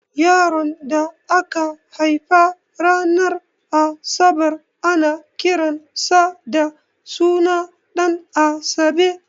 Yaron da aka haifa ran asabar ana kiran sa da suna Ɗanasabe